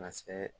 Ka se